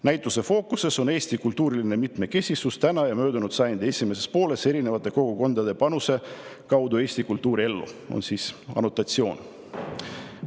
"Näituse fookuses on Eesti kultuuriline mitmekesisus täna ja möödunud sajandi esimeses pooles erinevate kogukondade panuse kaudu Eesti kultuuriellu" on selle annotatsioon.